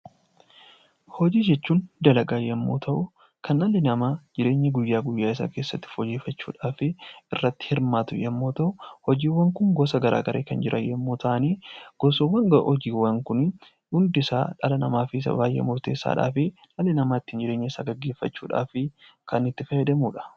Hojii jechuun dalagaa yommuu ta'u kan dhalli namaa jireenya guyyaa guyyaa isaa keessatti fooyyeffachuuf irratti hirmaatu yommuu ta'u hojiiwwan Kun gosa garaagaraa kan jiran yommuu ta'u gosoonni hojiiwwan Kun dhala namaatiif baay'ee murteessaa fi dhalli namaa jireenya isaa ittiin gaggeeffachuudhaaf kan itti fayyadamanidha